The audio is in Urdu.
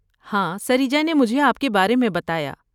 ہاں سریجا نے مجھے آپ کے بارے میں بتایا۔